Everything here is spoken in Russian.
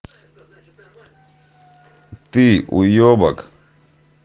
ты уебак